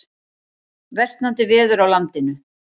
Versnandi veður á landinu